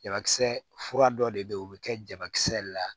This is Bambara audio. Jabakisɛ fura dɔ de be yen o bi kɛ jabakisɛ la